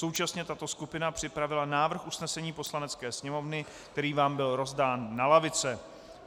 Současně tato skupina připravila návrh usnesení Poslanecké sněmovny, který vám byl rozdán na lavice.